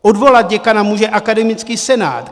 Odvolat děkana může akademický senát.